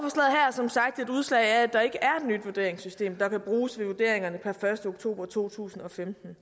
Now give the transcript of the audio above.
som sagt et udslag af at der ikke er et nyt vurderingssystem der kan bruges ved vurderingerne per første oktober to tusind og femten